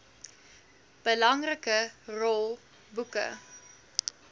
belangrike rol boeke